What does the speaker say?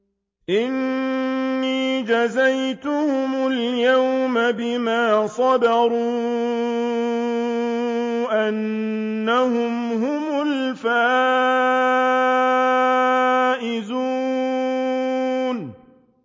إِنِّي جَزَيْتُهُمُ الْيَوْمَ بِمَا صَبَرُوا أَنَّهُمْ هُمُ الْفَائِزُونَ